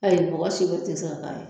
Ayi mɔgɔ seko te se ka k'a la